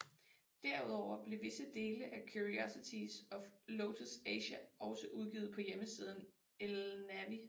Derudover blev visse dele af Curiosities of Lotus Asia også udgivet på hjemmesiden Elnavi